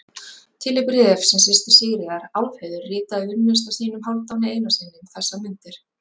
Til er bréf sem systir Sigríðar, Álfheiður, ritaði unnusta sínum, Hálfdáni Einarssyni, um þessar mundir.